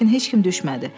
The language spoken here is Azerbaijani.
Lakin heç kim düşmədi.